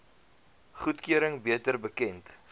goedkeuring beter bekend